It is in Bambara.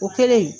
O kɛlen